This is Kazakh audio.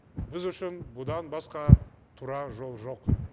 біз үшін бұдан басқа тура жол жоқ